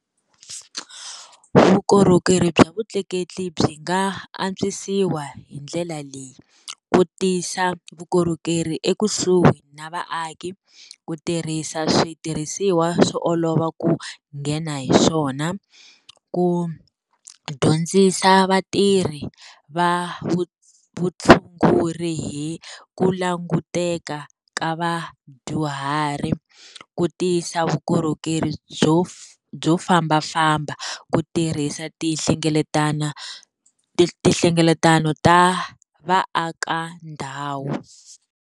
Vukorhokeri bya vutleketli byi nga antswisiwa hi ndlela leyi, ku tisa vukorhokeri ekusuhi na vaaki, ku tirhisa switirhisiwa swo olova ku nghena hi swona, ku dyondzisa vatirhi va vutshunguri hi ku languteka ka vadyuhari, ku tisa vu vukorhokeri byo byo fambafamba, ku tirhisa tinhlengeletano ta vaaka ndhawu.